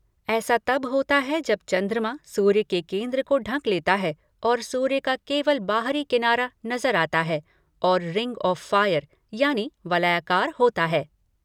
ऐस तब होता है जब चन्द्रमा सूर्य के केन्द्र के ढक लेता है और सूर्य का केवल बाहरी किनारा नजर आता है और रिंग आफ फायर यानि वलयाकार होता है।